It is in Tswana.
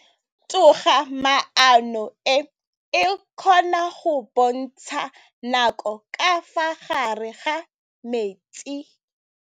Toga-maanô e, e kgona go bontsha nakô ka fa gare ga metsi.